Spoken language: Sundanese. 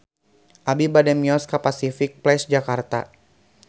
Abi bade mios ka Pasific Place Jakarta